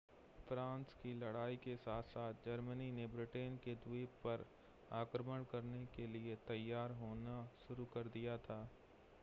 France की लड़ाई के साथ-साथ जर्मनी ने ब्रिटेन के द्वीप पर आक्रमण करने के लिए तैयार होना शुरू कर दिया था